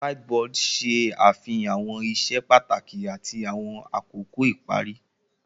Whiteboard ṣe afihan awọn iṣẹ pataki ati awọn akoko ipari.